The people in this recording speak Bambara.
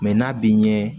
Mɛ n'a b'i ɲɛ